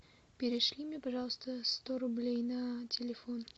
перешли мне пожалуйста сто рублей на телефон